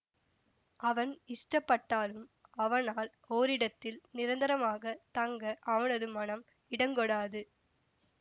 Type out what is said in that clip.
அவன் இஷ்டப்பட்டாலும் அவனால் ஓரிடத்தில் நிரந்தரமாகத் தங்க அவனது மனம் இடங்கொடாது